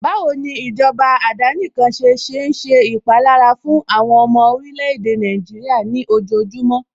Báwo ni ìjọba àdánìkanṣe ṣe ń ṣe ìpalára fún àwọn ọmọ orílè-èdè Nàìjíríà ní ojojúmọ́